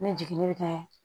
Ni jiginni bɛ kɛ